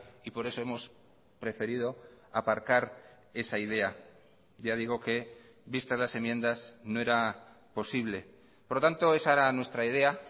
y por eso hemos preferido aparcar esa idea ya digo que vistas las enmiendas no era posible por lo tanto esa era nuestra idea